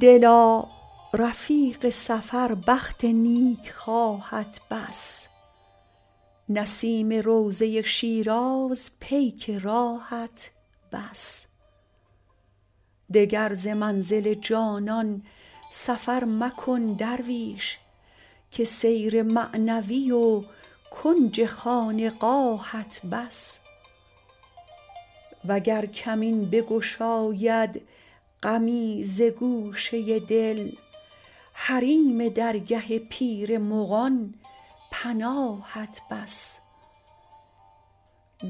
دلا رفیق سفر بخت نیکخواهت بس نسیم روضه شیراز پیک راهت بس دگر ز منزل جانان سفر مکن درویش که سیر معنوی و کنج خانقاهت بس وگر کمین بگشاید غمی ز گوشه دل حریم درگه پیر مغان پناهت بس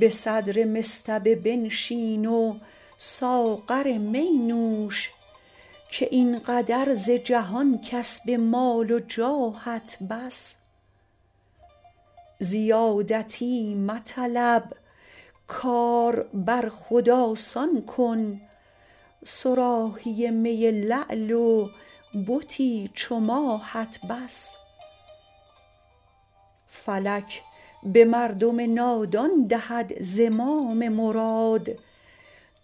به صدر مصطبه بنشین و ساغر می نوش که این قدر ز جهان کسب مال و جاهت بس زیادتی مطلب کار بر خود آسان کن صراحی می لعل و بتی چو ماهت بس فلک به مردم نادان دهد زمام مراد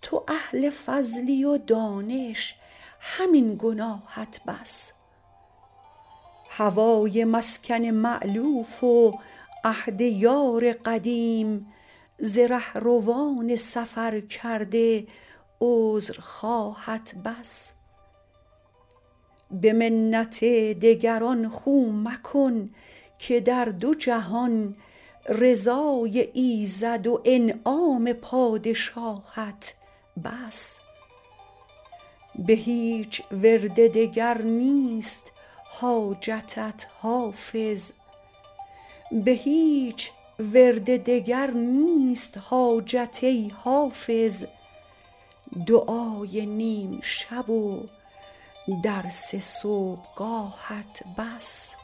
تو اهل فضلی و دانش همین گناهت بس هوای مسکن مألوف و عهد یار قدیم ز رهروان سفرکرده عذرخواهت بس به منت دگران خو مکن که در دو جهان رضای ایزد و انعام پادشاهت بس به هیچ ورد دگر نیست حاجت ای حافظ دعای نیم شب و درس صبحگاهت بس